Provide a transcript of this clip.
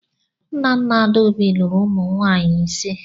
Nnanna Adaobi lụrụ ụmụ nwaanyị ịse.